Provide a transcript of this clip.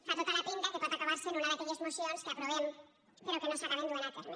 fa tota la pinta que pot acabar sent una d’aquelles mocions que aprovem però que no s’acaben duent a terme